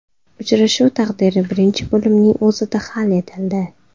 Uchrashuv taqdiri birinchi bo‘limning o‘zida hal etildi.